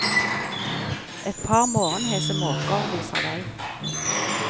Et par morgenhese måker viser vei.